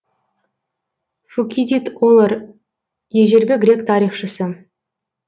фукидид олор ежелгі грек тарихшысы